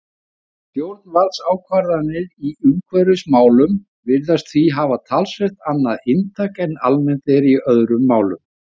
Stjórnvaldsákvarðanir í umhverfismálum virðast því hafa talsvert annað inntak en almennt er í öðrum málum.